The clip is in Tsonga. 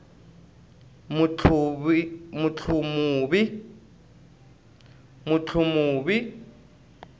mutlumuvi